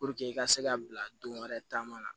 i ka se ka bila don wɛrɛ taama na